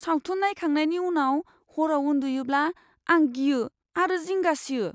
सावथुन नायखांनायनि उनाव हराव उन्दुयोब्ला आं गियो आरो जिंगा सियो।